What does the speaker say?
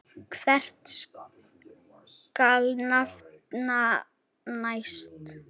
Hvern skal nefna næst?